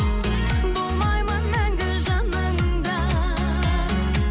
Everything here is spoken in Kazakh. болмаймын мәңгі жаныңда